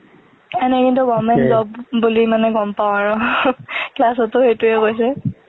এনে কিন্তু government job বুলি গম পাও আৰু , class ত ও সেইটোয়ে কৈছে।